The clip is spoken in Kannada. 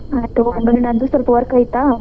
ಆಯಿತಗೋ ನಂದು ಸ್ವಲ್ಪ work ಐತಾ.